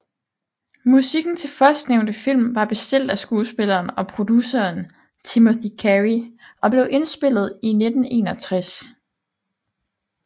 Musikken til førstnævnte film var bestilt af skuespilleren og produceren Timothy Carey og blev indspillet i 1961